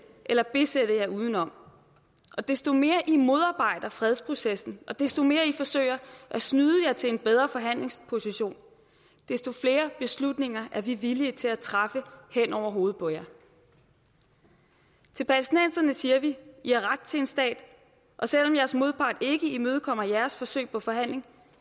eller besætte jer uden om og desto mere i modarbejder fredsprocessen og desto mere i forsøger at snyde jer til en bedre forhandlingsposition desto flere beslutninger er vi villige til at træffe hen over hovedet på jer til palæstinenserne siger vi i har ret til en stat og selv om jeres modpart ikke imødekommer jeres forsøg på forhandling